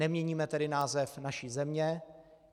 Neměníme tedy název naší země.